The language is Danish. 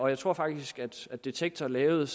jeg tror faktisk at detektor lavede